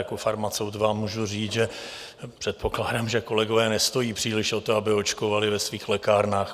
Jako farmaceut vám můžu říct, že předpokládám, že kolegové nestojí příliš o to, aby očkovali ve svých lékárnách.